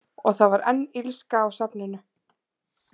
Og það var enn illska á safninu.